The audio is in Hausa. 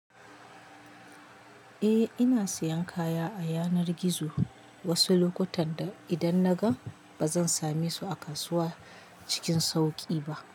Eh, ina siyan kaya a yanar gizo wasu lokutan idan na ga ba zan same su a kasuwa cikin sauƙi ba.